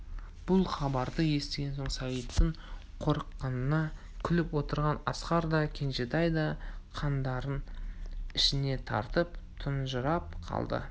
бұл хабарды естігенде сағиттың қорыққанына күліп отырған асқар да кенжетай да қандарын ішіне тартып тұнжырап қалды